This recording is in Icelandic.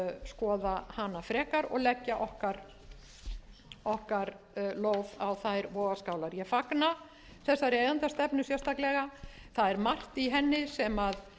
skoða hana frekar og leggja okkar lóð á þær vogarskálar ég fagna þessari eigendastefnu sérstaklega það er margt í henni sem